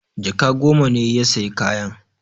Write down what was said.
Jaka goma ne ya sayi kayan.